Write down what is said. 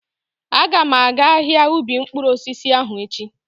Aga m aga ahia ubi mkpụrụ osisi ahụ echi.